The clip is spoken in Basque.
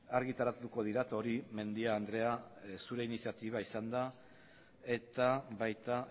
argitaratuko dira eta hori mendia andrea zure iniziatiba izan da eta baita